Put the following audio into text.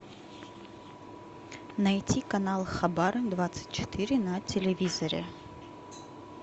найти канал хабар двадцать четыре на телевизоре